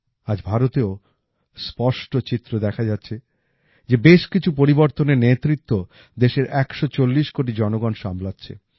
আজ ভারতেও স্পষ্ট চিত্র দেখা যাচ্ছে যে বেশ কিছু পরিবর্তনের নেতৃত্ব দেশের ১৪০ কোটি জনগণ সামলাচ্ছে